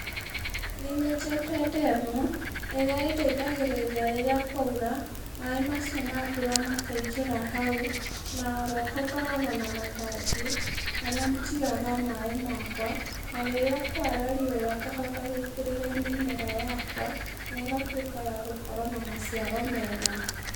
Nĩnyenjete ndemu, ĩrĩa ĩndeithagĩrĩria rĩrĩa kwaura, maĩ macio ma mbura makaingĩra hau, na oroho ngoragwo na matangi, marĩa njigaga maĩ makwa, na rĩrĩa kwara riũa ngahota gũitĩrĩria mĩmera yakwa negatwĩka ya gũkorwo na maciaro mega.